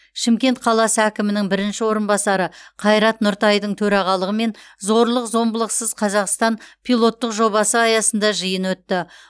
шымкент қаласы әкімінің бірінші орынбасары қайрат нұртайдың төрағалығымен зорлық зомбылықсыз қазақстан пилоттық жобасы аясында жиын өтті